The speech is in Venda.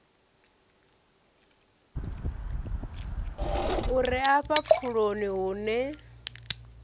u re afha pfuloni hune